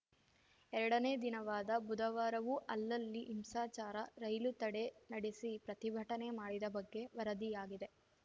ಎರಡನೇ ದಿನವಾದ ಬುಧವಾರವೂ ಅಲ್ಲಲ್ಲಿ ಹಿಂಸಾಚಾರ ರೈಲು ತಡೆ ನಡೆಸಿ ಪ್ರತಿಭಟನೆ ಮಾಡಿದ ಬಗ್ಗೆ ವರದಿಯಾಗಿದೆ